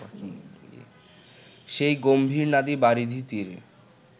সেই গম্ভীরনাদী বারিধিতীরে